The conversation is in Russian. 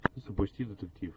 запусти детектив